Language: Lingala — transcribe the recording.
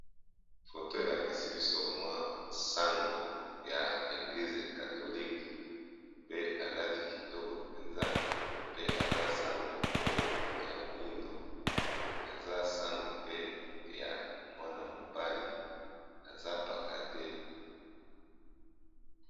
Photo elakisi biso mwa sango ya eglize katholiqe pe alati kitoko mpenza pe aza sango oyo ya moindo aza sango pe ya mwana mobali aza paka te